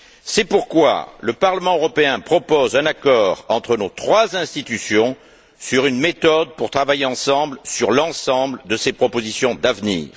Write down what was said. C'est pourquoi le Parlement européen propose un accord entre nos trois institutions sur une méthode pour travailler ensemble sur l'ensemble de ces propositions d'avenir.